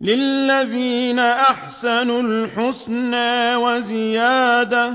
۞ لِّلَّذِينَ أَحْسَنُوا الْحُسْنَىٰ وَزِيَادَةٌ ۖ